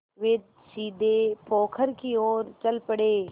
वे सीधे पोखर की ओर चल पड़े